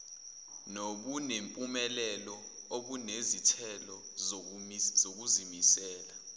nobunempumelelo obunezithelo zokuzimisela